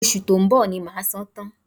Oṣù tó ń bọ̀ ni màá san án tán